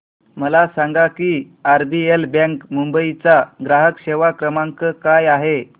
मला सांगा की आरबीएल बँक मुंबई चा ग्राहक सेवा क्रमांक काय आहे